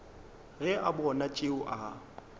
ge a bona tšeo a